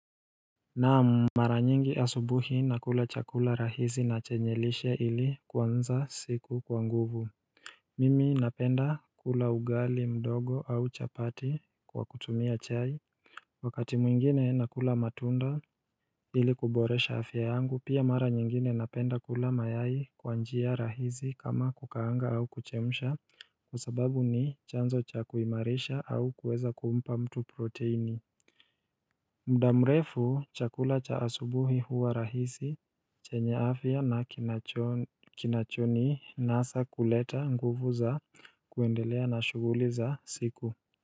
Naam, mara nyingi asubuhi nakula chakula rahisi na chenye lishe ili kuanza siku kwa nguvu. Mimi napenda kula ugali mdogo au chapati kwa kutumia chai Wakati mwingine nakula matunda ili kuboresha afya yangu pia mara nyingine napenda kula mayai kwa njia rahisi kama kukaanga au kuchemsha kwa sababu ni chanzo cha kuimarisha au kuweza kuumpa mtu protini muda mrefu, chakula cha asubuhi huwa rahisi chenye afia na kinacho kinachoninasa kuleta nguvu za kuendelea na shughuli za siku.